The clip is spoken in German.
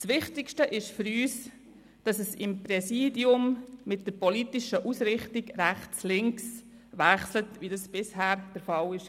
Das Wichtigste ist für uns, dass im Präsidium mit der politischen Ausrichtung rechts/links abgewechselt wird, so wie das bisher der Fall gewesen ist.